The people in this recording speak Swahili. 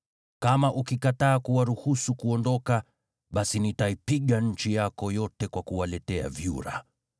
Kama ukikataa kuwaruhusu kuondoka, basi nitaipiga nchi yako yote kwa kuwaletea vyura.